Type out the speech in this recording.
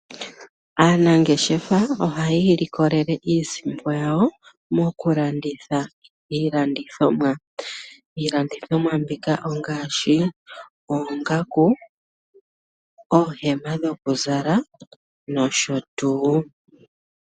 Aanangeshefa ohayi ilikolele iisimpo yawo moku landitha iilandithomwa, iilandithomwa mbika ongaashi oongaku, oohema dhoku zala nosho tuu